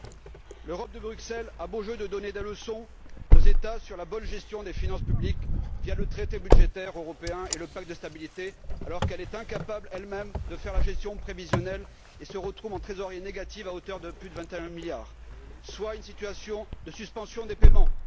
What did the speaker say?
15. L'Europe de Bruxelles a beau jeu de donner des leçons aux États sur la bonne gestion des finances publiques via le traité budgétaire européen et le pacte de stabilité alors qu'elle est incapable elle même de faire la gestion prévisionnelle et qu'elle se retrouve en trésorerie négative à hauteur de plus de 21 milliards, soit une situation de suspension des paiements.